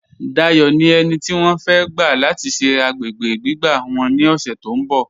Dáyọ̀ ni ènì tí wọ́n fẹ̀ gba lati ṣẹ̀ agbègbè gbígbà wọ́n ni ọṣẹ̀ tó nbọ̀.